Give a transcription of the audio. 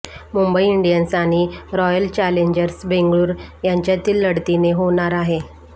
Mumbai Indians आणि Royal Challengers Bengaluru यांच्यातील लढतीने होणार आहे